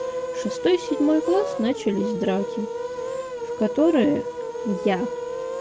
шестой седьмой класс начались драки в которое я